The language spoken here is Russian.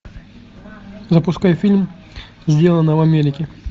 запускай фильм сделано в америке